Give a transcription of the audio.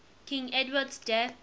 king edward's death